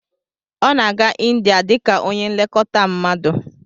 Ọ na-aga India dị ka onye nlekọta mmadu